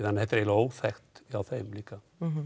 þetta er eiginlega óþekkt hjá þeim líka